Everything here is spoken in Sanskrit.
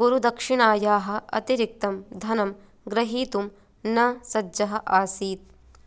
गुरुदक्षिणयाः अतिरिक्तं धनं ग्रहीतुं न सज्जः आसीत्